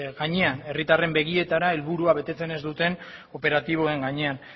gainean herritarren begietara helburua betetzen ez duten operatiboen gainean